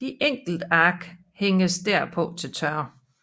De enkelte ark hænges derpå til tørre